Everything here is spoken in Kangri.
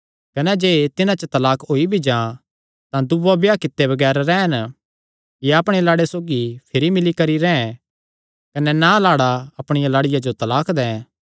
कने जे तिन्हां च तलाक होई भी जां तां दूआ ब्याह कित्ते बगैर रैह़न या अपणे लाड़े सौगी भिरी मिल्ली करी रैंह् कने ना लाड़ा अपणिया लाड़िया जो तलाक दैं